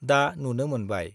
दा नुनो मोनबाय-